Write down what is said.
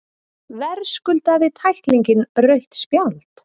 Verðskuldaði tæklingin rautt spjald?